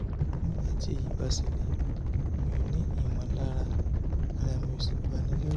nígbà tí èyí bá ṣẹlẹ̀ mi ò ní ìmọ̀lára ara mi ó sì bani lẹ́rù